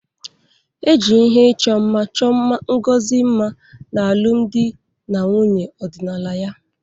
E ji ihe ịchọ mma chọọ Ngozi mma n'alụmdi na nwunye ọdịnala ya.